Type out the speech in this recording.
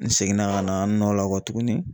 N seginna ka na n nɔ la kɔ tuguni